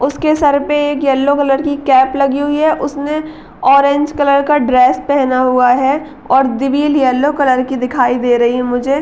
उसके सर पे एक येलो कलर की कैप लगी हुई है। उसने ऑरेंज कलर का ड्रेस पहना हुआ है और दिवील येलो कलर की दिखाई दे रही है मुझे --